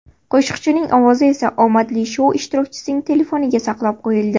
Qo‘shiqchining ovozi esa omadli shou ishtirokchisining telefoniga saqlab qo‘yildi.